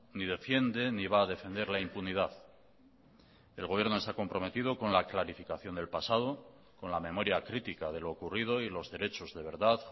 ni defiende ni va a defender la impunidad el gobierno se ha comprometido con la clarificación del pasado con la memoria crítica de lo ocurrido y los derechos de verdad